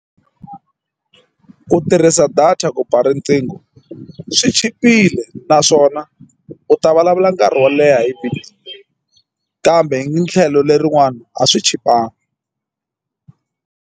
Ku tirhisa data ku ba riqingho u swi chipile naswona u ta vulavula nkarhi wo leha hi kambe tlhelo lerin'wani a swi chipangiki.